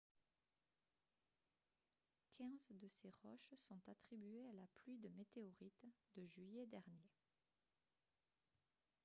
quinze de ces roches sont attribuées à la pluie de météorites de juillet dernier